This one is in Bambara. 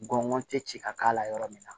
N gɔ tɛ ci ka k'a la yɔrɔ min na